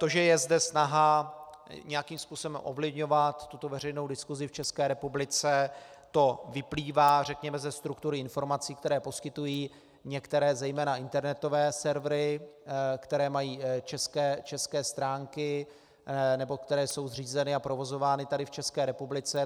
To, že je zde snaha nějakým způsobem ovlivňovat tuto veřejnou diskusi v České republice, to vyplývá, řekněme, ze struktury informací, které poskytují některé zejména internetové servery, které mají české stránky nebo které jsou zřízeny a provozovány tady v České republice.